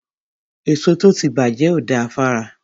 Èso tó ti bàjẹ́ ò da fára.